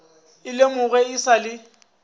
e lemogwe e sa le